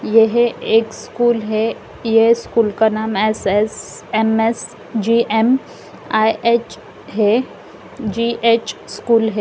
यह एक स्कूल है ये स्कूल का नाम एस_एस_एम_एस_जी_एम_आई_एच है जी_एच स्कूल है।